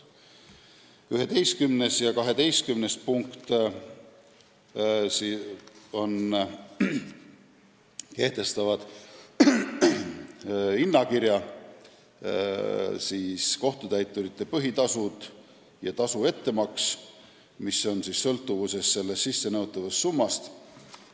Sama paragrahvi 11. ja 12. punkt kehtestavad konkreetse hinnakirja: kohtutäiturite põhitasud ja tasu ettemaks on sõltuvuses sissenõutavast summast.